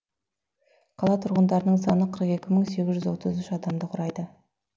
қала тұрғындарының саны қырық екі мың сегіз отыз үш адамды құрайды